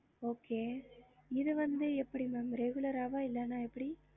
என்னவேனாலும் three thousand